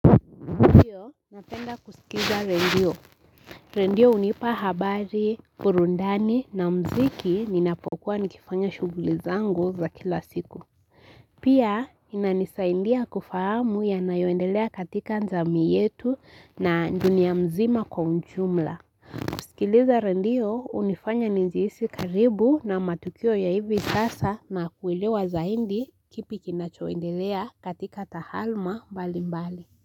Napenda kusikiza redio. Redio hunipa habari burudani na muziki ninapokuwa nikifanya shughuli zangu za kila siku. Pia inanisaidia kufahamu yanayoendelea katika jamii yetu na dunia mzima kwa ujumla. Kusikiliza redio hunifanya nijihisi karibu na matukio ya hivi sasa na kuelewa zaidi kipi kinachoendelea katika tahaluma mbali mbali.